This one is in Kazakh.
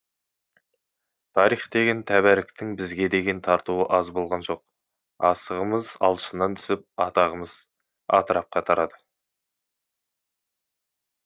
тарих деген тәбәріктің бізге деген тартуы аз болған жоқ асығымыз алшысынан түсіп атағымыз атырапқа тарады